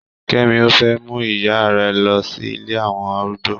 Kẹ́mi ò fẹ́ mú ìyá rẹ̀ lọ sí ilé àwọn arúgbó.